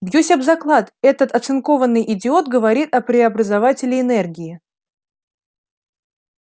бьюсь об заклад этот оцинкованный идиот говорит о преобразователе энергии